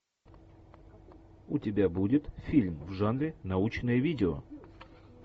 у тебя будет фильм в жанре научное видео